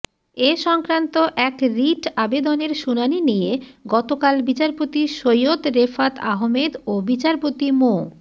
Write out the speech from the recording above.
এ সংক্রান্ত এক রিট আবেদনের শুনানি নিয়ে গতকাল বিচারপতি সৈয়দ রেফাত আহমেদ ও বিচারপতি মো